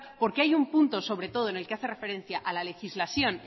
porque hay un punto sobre todo en el que hace referencia a la legislación